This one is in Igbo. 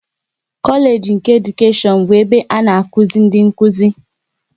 Kolage nke Edukashion bụ ebe a na-azụ ndị Nkụzi